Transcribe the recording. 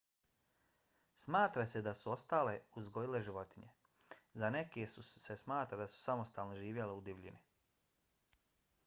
smatra se da su ostale odgojile životinje. za neke se smatra da su samostalno živjeli u divljini